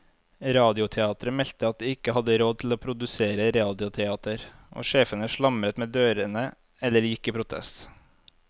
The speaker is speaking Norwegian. Radioteateret meldte at de ikke hadde råd til å produsere radioteater, og sjefene slamret med dørene eller gikk i protest.